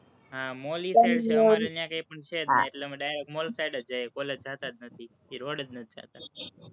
હં mall ઈ side છે, અમારી ન્યાં કઈ પણ છે જ નઈ, એટલે અમે mall side જ જઈએ, college જાતા જ નથી, એ road એ જ નથી જાતા.